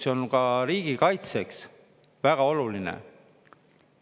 See on ka riigikaitseks väga oluline.